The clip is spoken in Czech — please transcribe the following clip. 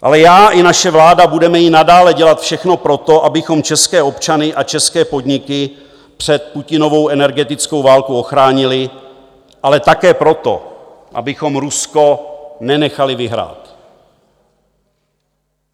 Ale já i naše vláda budeme i nadále dělat všechno pro to, abychom české občany a české podniky před Putinovou energetickou válkou ochránili, ale také pro to, abychom Rusko nenechali vyhrát.